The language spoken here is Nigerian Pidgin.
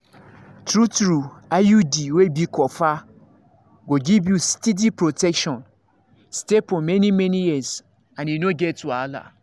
true-true iud wey be copper go give you steady protection stay for many-many years and e no get wahala.